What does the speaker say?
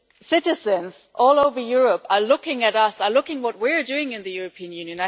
Citizens all over Europe are looking at us, looking at what we are doing in the European Union.